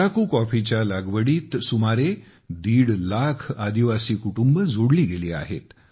अराकू कॉफीच्या लागवडीत सुमारे दीड लाख आदिवासी कुटुंबे जोडली गेलेली आहेत